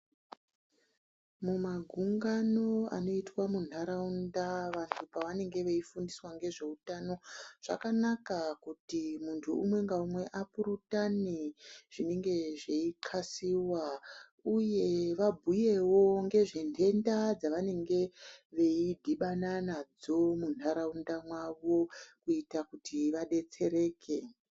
Mumagungano anoitwa munharaunda vanhu pavanenge veifundiswa ngezveutano zvakanaka kuti muntu umwe ngaumwe apurutane zvinenge zveinxlasiwa uye vabhuyewo ngezve nhenda dzavanenge veidhibana nadzo munharaunda mwavo kuita kuti vadetsereke.